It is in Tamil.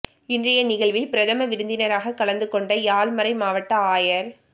இன்றைய நிகழ்வில் பிரதம விருந்தினராக கலந்துகொண்ட யாழ் மறை மாவட்ட ஆயர்